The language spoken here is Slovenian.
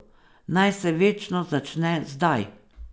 Naj se večnost začne zdaj.